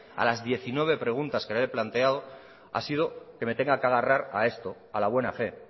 a las diecinueve preguntas que le he planteado ha sido que me tenga que agarrar a esto a la buena fe